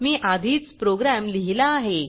मी आधीच प्रोग्राम लिहिला आहे